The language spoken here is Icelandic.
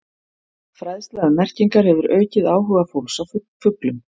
Fræðsla um merkingar hefur aukið áhuga fólks á fuglum.